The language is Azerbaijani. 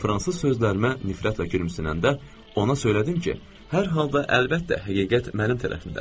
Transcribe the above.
Və fransız sözlərimə nifrətlə gülümsünəndə ona söylədim ki, hər halda əlbəttə həqiqət mənim tərəfimdədir.